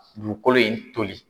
Dugukolo in toli.